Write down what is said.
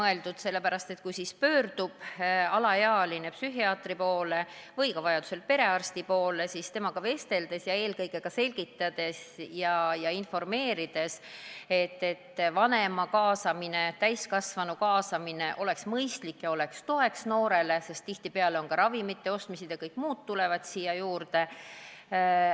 Kui alaealine pöördub psühhiaatri poole või vajaduse korral ka perearsti poole, siis temaga vesteldakse ja talle selgitatakse, et vanema, täiskasvanu kaasamine oleks mõistlik ja noorele toeks, sest tihtipeale kaasneb abiga ka ravimite ostmise vajadus ja kõik muu.